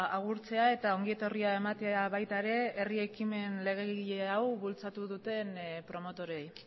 agurtzea eta ongi etorria ematea baita ere herri ekimen legegile hau bultzatu duten promotorei